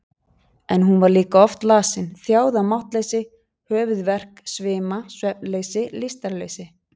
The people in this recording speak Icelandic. En hún var líka oft lasin, þjáð af máttleysi, höfuðverk, svima, svefnleysi, lystarleysi.